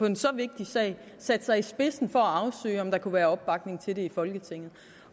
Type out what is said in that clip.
en så vigtig sag satte sig i spidsen for at afsøge om der kunne være opbakning til det i folketinget